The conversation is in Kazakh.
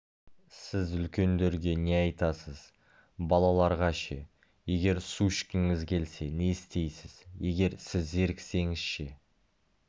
сіз үлкендерге не айтасыз балаларға ше егер су ішкіңіз келсе не істейсіз егер сіз зеріксеңіз ше